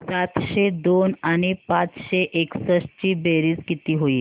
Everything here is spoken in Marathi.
सातशे दोन आणि पाचशे एकसष्ट ची बेरीज किती होईल